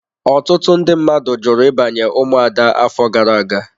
Ọtụtụ ndị mmadụ jụrụ ịbanye ụmụada afọ gara aga.